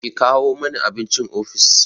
Ki kawo mani abincin ofis!